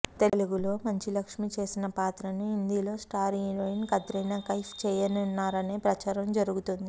తెలుగులో మంచు లక్ష్మి చేసిన పాత్రను హిందీలో స్టార్ హీరోయిన్ కత్రినా కైఫ్ చేయనున్నారనే ప్రచారం జరుగుతోంది